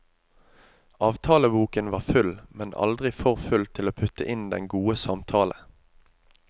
Avtaleboken var full, men aldri for full til å putte inn den gode samtale.